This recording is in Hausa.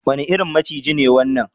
Wane irin maciji ne wannan?